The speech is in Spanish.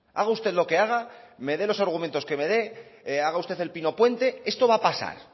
haga usted lo que haga me dé los argumentos que me dé haga usted el pino puente esto va a pasar